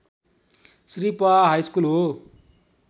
श्री पआ हाइस्कुल हो